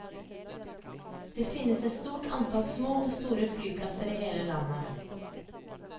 Det finnes et stort antall små og store flyplasser i hele landet.